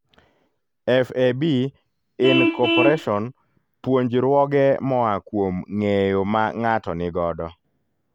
FAB, Inc-puonjruoge moa kuom nge'eyo ma ng''ato nigodo